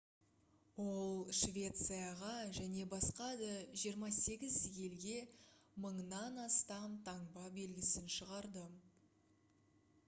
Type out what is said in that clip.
ол швецияға және басқа да 28 елге 1000-нан астам таңба белгісін шығарды